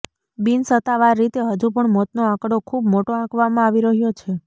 બિનસત્તાવાર રીતે હજુ પણ મોતનો આંકડો ખૂબ મોટો આંકવામાં આવી રહ્યો છે